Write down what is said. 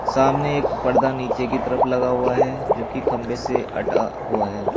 सामने एक पर्दा नीचे की तरफ लगा हुआ है जो की खंभे से अटा हुआ है।